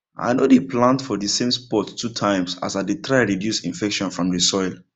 i no dey plant for the same spot two times as i dey try reduce infection from the soil